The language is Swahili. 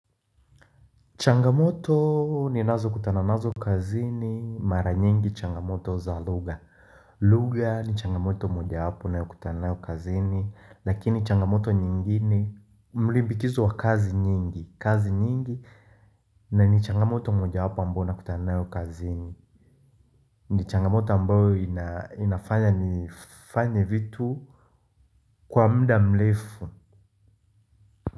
Changamoto ni nazo kutana nazo kazi ni mara nyingi changamoto za lugha lugha ni changamoto moja wapo ninayo kutanayo kutana nayo kazini lakini changamoto nyingine Mlimbikizo wa kazi nyingi kazi nyingi na ni changamoto moja wapo ambayo nakutana nayo kazini ni changamoto ambayo inafanya nifanye vitu Kwa mda mlefu.